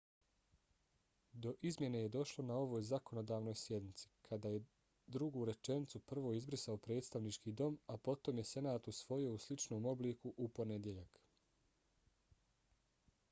do izmjene je došlo na ovoj zakonodavnoj sjednici kada je drugu rečenicu prvo izbrisao predstavnički dom a potom je senat usvojio u sličnom obliku u ponedjeljak